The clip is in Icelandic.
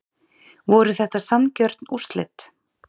Voru þetta sanngjörn úrslit?